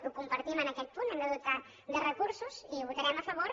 ho compartim en aquest punt hem de dotar los de recursos i hi votarem a favor